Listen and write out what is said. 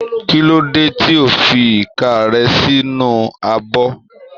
Kí ló dé tí ò ń fi ìka rẹ sínú abọ́?